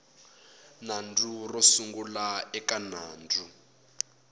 nandzu ro sungula eka nandzu